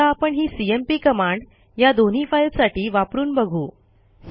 आता आपण ही सीएमपी कमांड या दोन्ही फाईलसाठी वापरून बघू